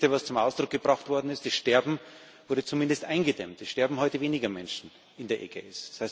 Und das Wichtigste, was zum Ausdruck gebracht worden ist Das Sterben wurde zumindest eingedämmt, es sterben heute weniger Menschen in der Ägäis.